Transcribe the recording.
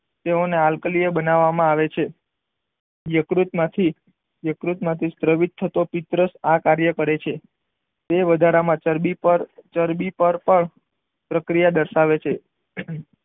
તેઓ ને આલ્કલીય બનાવામાં આવે છે યકૃત માંથી યકૃત માંથી સ્રટવીટ થતો પિત્ર આ કાર્ય કરે છે તે વધારામાં ચરબી પર ચરબી પર પણ પ્રક્રિયા દર્શાવે છે.